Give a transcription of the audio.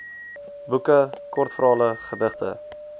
boeke kortverhale gedigte